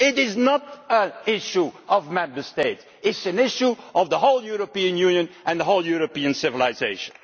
It is not an issue for Member States, it is an issue for the whole European Union and the whole of European civilisation.